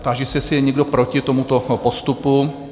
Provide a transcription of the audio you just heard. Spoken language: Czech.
Táži se, jestli je někdo proti tomuto postupu?